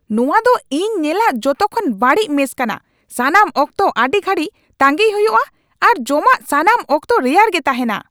ᱱᱚᱣᱟ ᱫᱚ ᱤᱧ ᱧᱮᱞᱟᱜ ᱡᱚᱛᱚ ᱠᱷᱚᱱ ᱵᱟᱹᱲᱤᱡ ᱢᱮᱥ ᱠᱟᱱᱟ ᱾ ᱥᱟᱱᱟᱢ ᱚᱠᱛᱚ ᱟᱹᱰᱤ ᱜᱷᱟᱹᱲᱤᱡ ᱛᱟᱹᱜᱤᱭ ᱦᱩᱭᱩᱜᱼᱟ ᱟᱨ ᱡᱚᱢᱟᱜ ᱥᱟᱱᱟᱢ ᱚᱠᱛᱚ ᱨᱮᱭᱟᱲ ᱜᱮ ᱛᱟᱦᱮᱸᱱᱟ ᱾